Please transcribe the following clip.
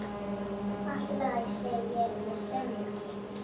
Allt í lagi, segi ég með semingi.